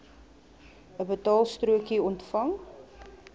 n betaalstrokie ontvang